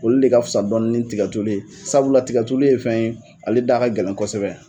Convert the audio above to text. Olu de ka fisa dɔɔni ni tikatulu ye. Sabula tikatulu ye fɛn ye ale da ka gɛlɛn kosɛbɛ.